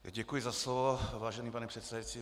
Děkuji za slovo, vážený pane předsedající.